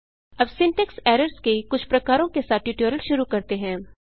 अब syntax errors के कुछ प्रकारों के साथ ट्यूटोरियल शुरू करते हैं